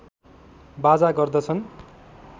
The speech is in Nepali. बाजा गर्दछन्